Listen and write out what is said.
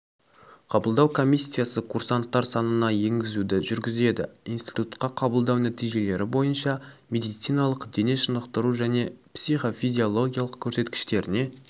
қабылдау комиссиясы курсанттар санына енгізуді жүргізеді институтқа қабылдау нәтижелері бойынша медициналық дене шынықтыру және психофизиологиялық көрсеткіштеріне